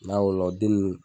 N'a wolo la den nunnu